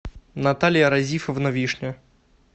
наталья разифовна вишня